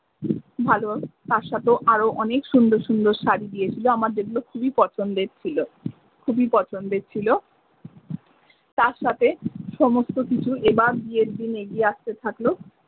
ভালো তার সাথেও আরও অনেক সুন্দর সুন্দর শাড়ি দিয়েছিল আমার যে গুলো খুবই পছন্দের ছিলো খুবই পছন্দের ছিলো তারসাথে সমস্ত কিছু এবার বিয়ের দিন এগিয়ে আস্তে থাকলো।